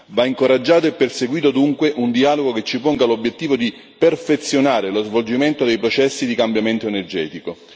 Va incoraggiato e perseguito dunque un dialogo che ci ponga l'obiettivo di perfezionare lo svolgimento dei processi di cambiamento energetico.